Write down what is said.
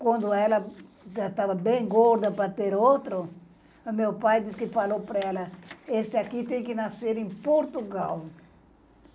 Quando ela já estava bem gorda para ter outro, o meu pai disse que falou para ela, esse aqui tem que nascer em Portugal.